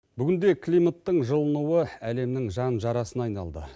бүгінде климаттың жылынуы әлемнің жан жарасына айналды